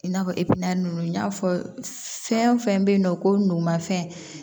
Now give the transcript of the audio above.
I n'a fɔ ninnu n y'a fɔ fɛn fɛn bɛ yen nɔ ko numanfɛn